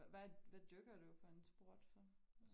Hvad hvad hvad dyrker du for en sport så?